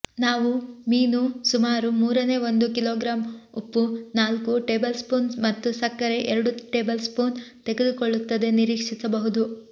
ನಾವು ಮೀನು ಸುಮಾರು ಮೂರನೇ ಒಂದು ಕಿಲೋಗ್ರಾಂ ಉಪ್ಪು ನಾಲ್ಕು ಟೇಬಲ್ಸ್ಪೂನ್ ಮತ್ತು ಸಕ್ಕರೆ ಎರಡು ಟೇಬಲ್ಸ್ಪೂನ್ ತೆಗೆದುಕೊಳ್ಳುತ್ತದೆ ನಿರೀಕ್ಷಿಸಬಹುದು